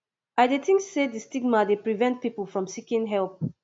i dey think say di stigma dey prevent people from seeking help